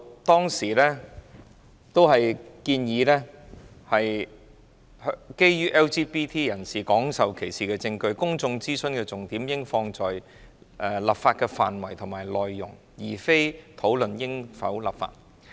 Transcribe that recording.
當時建議，基於已有證據顯示 LGBT 人士廣受歧視，公眾諮詢的重點應放在討論立法的範圍及內容，而非討論應否立法。